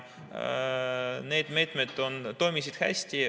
Need meetmed toimisid hästi.